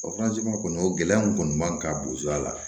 O kɔni o gɛlɛya mun kɔni man ka bozo a la